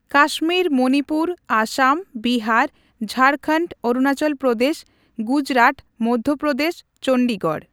Kashmir Manipur Assam Bihar Jharkhand Arunachal Pradesh Gujarat Madhya Pradesh Chandigarh.